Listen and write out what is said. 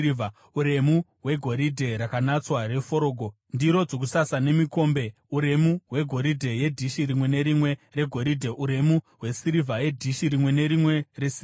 uremu hwegoridhe rakanatswa reforogo, ndiro dzokusasa nemikombe; uremu hwegoridhe nedhishi rimwe nerimwe regoridhe; uremu hwesirivha yedhishi rimwe nerimwe resirivha;